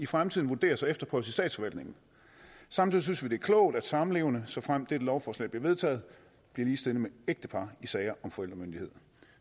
fremtiden vurderes og efterprøves i statsforvaltningen samtidig synes vi det er klogt at samlevende såfremt dette lovforslag bliver vedtaget bliver ligestillet med ægtepar i sager om forældremyndighed